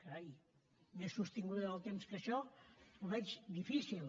carai més sostinguda en el temps que això ho veig difícil